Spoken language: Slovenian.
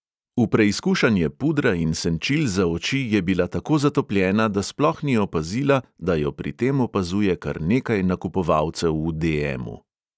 V preizkušanje pudra in senčil za oči je bila tako zatopljena, da sploh ni opazila, da jo pri tem opazuje kar nekaj nakupovalcev v de|emu.